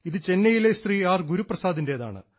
ഇത് ചെന്നൈയിലെ ശ്രീ ആർ ഗുരുപ്രസാദിൻറേതാണ്